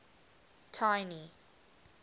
tiny